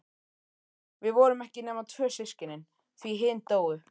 Við vorum ekki nema tvö systkinin, því hin dóu.